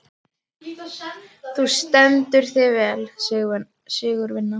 Þú stendur þig vel, Sigurvina!